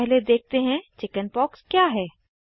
सबसे पहले देखते हैं चिकिन्पॉक्स क्या है160